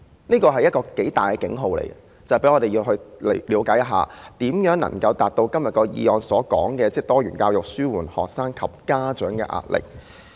這是一個很大的警號，讓我們了解如何能夠達到今天議案所說的"落實多元教育紓緩學生及家長壓力"。